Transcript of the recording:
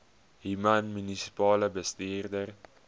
human munisipale bestuurder